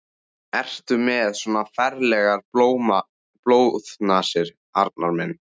Ertu með svona ferlegar blóðnasir, Arnar minn?